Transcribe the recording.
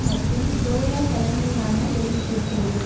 மற்றும் டோயோ தலைமையிலான வெளியிட்டிருக்கிறது